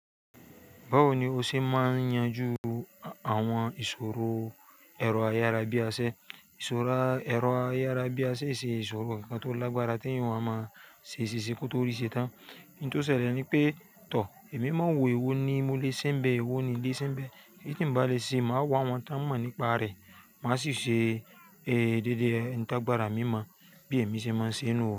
Báwo ni o ṣe máa yanju àwọn ìṣòro ẹ̀rọ ayárabíaṣẹ? Ìṣòro ẹ̀rọ ayárabíaṣẹ e ṣe ìṣòro ǹkan tó lágbára tí ẹ̀yàn o wá máa ṣe ṣíṣe kó tó rí i ṣe tán nì tó ṣẹlẹ̀ ni pé, tọ̀, èmi máa n wo èwo ni mo lè ṣe nbé, wò ni n lè ṣe nbé. Èyí tí ǹ bá lè ṣe, màá wá àwọn tí wọ́n mọ̀ nípa rẹ̀, màá sì ṣe, eh, déédéé ǹ ti agbára mi mọ̀ bí èmi ṣe máa ṣe nú o.